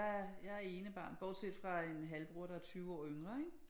Jeg jeg er enebarn bortset fra en halvbror der er 20 år yngre ikke